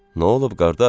Nə olub qardaş?